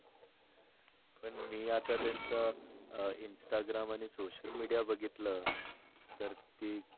मी आता त्यांच अं instagram आणि social media बघितल तर ती